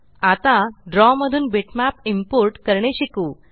आता द्रव मधून बिटमॅप इम्पोर्ट करणे शिकू